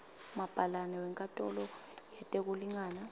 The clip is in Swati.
mabhalane wenkantolo yetekulingana